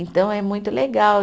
Então, é muito legal.